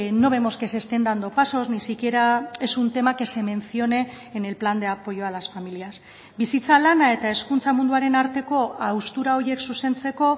no vemos que se estén dando pasos ni siquiera es un tema que se mencione en el plan de apoyo a las familias bizitza lana eta hezkuntza munduaren arteko haustura horiek zuzentzeko